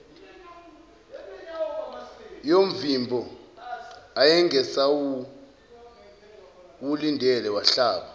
yomvimbo ayengasawulindele wahlaba